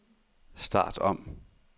start om